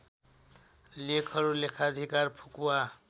लेखहरु लेखाधिकार फुकुवा